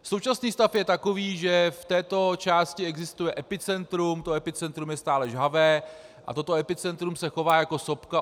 Současný stav je takový, že v této části existuje epicentrum, to epicentrum je stále žhavé a toto epicentrum se chová jako sopka.